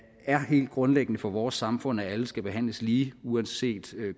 er helt grundlæggende for vores samfund at alle skal behandles lige uanset